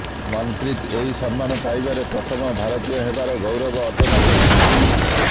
ମନ୍ପ୍ରୀତ ଏହି ସମ୍ମାନ ପାଇବାରେ ପ୍ରଥମ ଭାରତୀୟ ହେବାର ଗୌରବ ଅର୍ଜନ କରିଛନ୍ତି